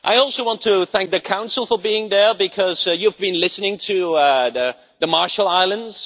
I also want to thank the Council for being here because you have been listening to the Marshall Islands.